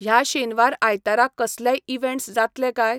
ह्या शेनवार आयतारा कसलेय इवँट्स जातले काय?